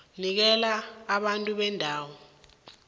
nikela abantu bendawo